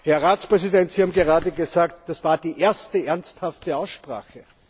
Herr Ratspräsident, Sie haben gerade gesagt, das war die erste ernsthafte Aussprache.